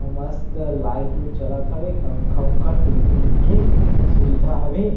अउ मस्त लाइट -उइट जलत हवे पंखा- उनखा टी. वी. उ. वी. के सुविधा हवे।